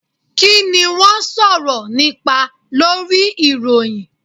Kini wọn sọrọ nipa Lori iroyin?